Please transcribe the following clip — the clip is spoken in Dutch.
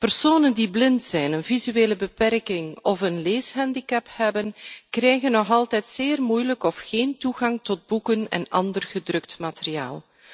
Personen die blind zijn, een visuele beperking of een leeshandicap hebben, krijgen nog altijd zeer moeilijk of geen toegang tot boeken en ander gedrukt materiaal.